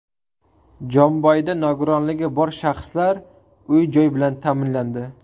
Jomboyda nogironligi bor shaxslar uy-joy bilan ta’minlandi.